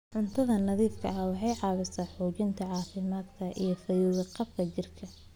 Cunto nadiif ah waxay caawisaa xoojinta caafimaadka iyo fayo-qabka jidhka.